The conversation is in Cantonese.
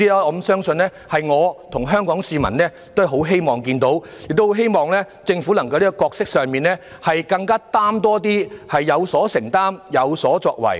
我相信我和香港市民都很希望看到政府能在角色上承擔更多，政府要有所承擔，有所作為。